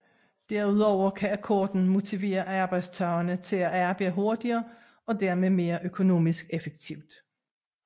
Derudover kan akkorden motivere arbejdstagerne til at arbejde hurtigere og dermed mere økonomisk effektivt